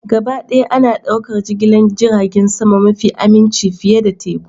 Gabaɗaya ana ɗaukar jigilar jiragen sama mafi aminci fiye da teku